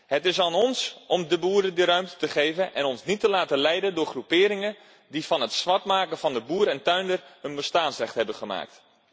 Het is aan ons om de boeren die ruimte te geven en ons niet te laten leiden door groeperingen die van het zwartmaken van de boer en tuinder een bestaansrecht hebben gemaakt.